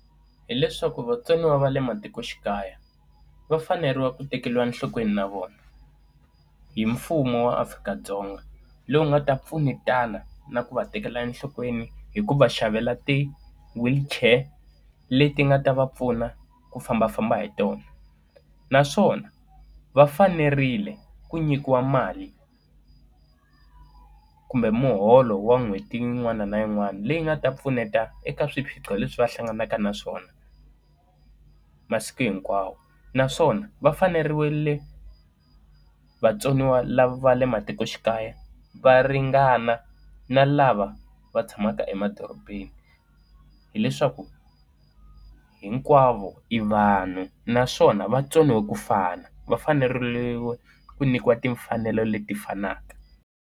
Hileswaku vatsoniwa va le matikoxikaya, va fanerile ku tekeriwa enhlokweni na vona hi mfumo wa Afrika-Dzonga, lowu nga ta pfunetana na ku va tekela enhlokweni hi ku va xavela ti-wheelchair leti nga ta va pfuna ku fambafamba hi tona. Naswona va fanerile ku nyikiwa mali kumbe muholo wa n'hweti yin'wana na yin'wana leyi nga ta pfuneta eka swiphiqo leswi va hlanganaka naswona masiku hinkwawo. Naswona va fanerile vatsoniwa lava le matikoxikaya va ringana na lava va tshamaka emadorobeni, hileswaku hinkwavo i vanhu naswona va tsoniwe kufana va fanerile ku nyikiwa timfanelo leti fanaka.